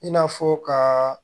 I n'a fɔ ka